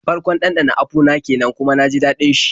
Farkon ɗanɗana apu na kenan kuma na ji daɗin shi.